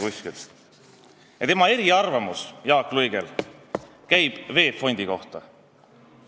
Jaak Luige eriarvamus käib VEB Fondi kohta.